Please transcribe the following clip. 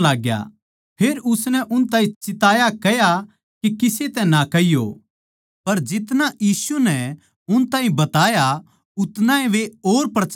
फेर उसनै उन ताहीं चिताया कह्या के किसे तै ना कहियो पर जितना यीशु उन ताहीं बताया उतनाए वे और प्रचार करण लाग्गे